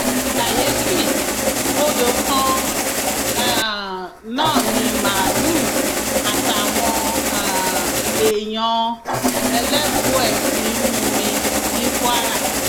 kàyééfì odò kan um náà ni màálùú àtàwọn um èèyàn ẹlẹbùẹ ti ń mumi ní kwara